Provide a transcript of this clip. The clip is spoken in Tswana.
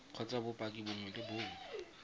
kgotsa bopaki bongwe le bongwe